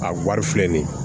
A wari filɛ nin ye